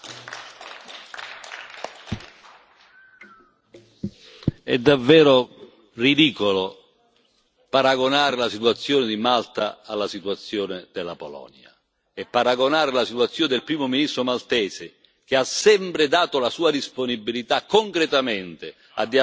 È davvero ridicolo paragonare la situazione di Malta alla situazione della Polonia, e paragonare la situazione del Primo ministro maltese, che ha sempre dato la sua disponibilità, concretamente, a dialogare con le istituzioni europee, a essere presente nel Parlamento europeo